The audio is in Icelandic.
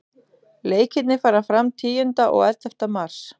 Leikirnir fara fram tíunda og ellefta mars.